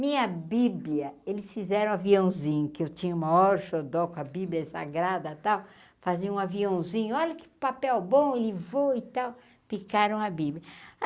Minha bíblia, eles fizeram aviãozinho, que eu tinha o maior xodó com a bíblia sagrada e tal, faziam um aviãozinho, olha que papel bom, ele voa e tal, picaram a bíblia.